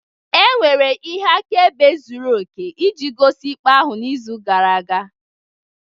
Enwere ihe akaebe zuru oke iji gosi ikpe ahụ n'izu gara aga